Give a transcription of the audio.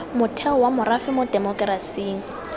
motheo wa morafe mo temokerasing